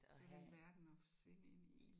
Det var den verden at forsvinde ind i